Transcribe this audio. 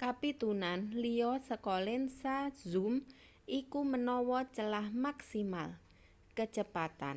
kapitunan liya saka lensa zoom iku menawa celah maksimal kecepatan